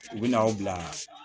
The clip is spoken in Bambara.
U bɛ n'aw bila